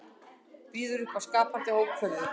Býður upp á skapandi hópferðir